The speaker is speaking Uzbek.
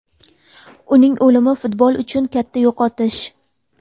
Uning o‘limi futbol uchun katta yo‘qotish.